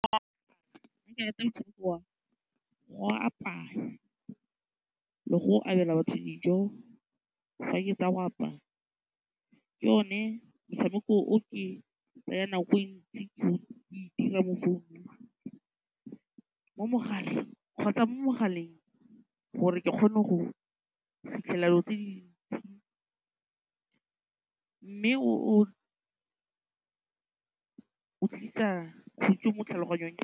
Nna ke rata motshameko wa go apaya le go abela batho dijo, fa ke tsa go apaya, ke one motshameko o ke tsayang nako e ntsi ke o dira mo founung, mo mogaleng kgotsa mo mogaleng gore ke kgone go fitlhelela dilo tse di ntsi mme o tlisa khutso mo tlhaloganyong.